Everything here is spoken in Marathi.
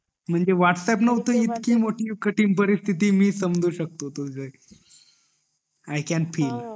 म्हणजे वाह्तअँप्स नव्हतं इतकी मोठी परिस्तिती मी समजू शकतो तुझी आई कॅन फील